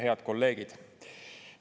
Head kolleegid!